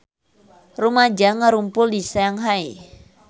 Rumaja ngarumpul di Shanghai